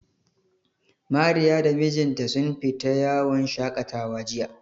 Mariya da mijinta sun fita yawon shaƙatawa jiya.